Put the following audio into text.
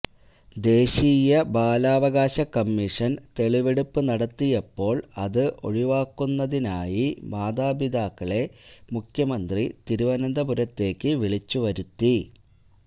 ദേശീയ ബാലാവകാശ കമ്മീഷന് തെളിവെടുപ്പ് നടത്തിയപ്പോള് അത് ഒഴിവാക്കുന്നതിനായി മാതാപിതാക്കളെ മുഖ്യമന്ത്രി തിരുവനന്തപുരത്തേക്ക് വിളിച്ചുവരുത്തി